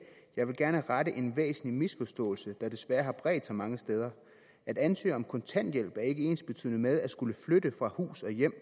jeg vil gerne rette en ret væsentlig misforståelse der desværre har bredt sig mange steder at ansøge om kontanthjælp er ikke ensbetydende med at skulle flytte fra hus og hjem